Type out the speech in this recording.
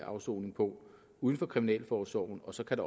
afsoning på uden for kriminalforsorgen og så kan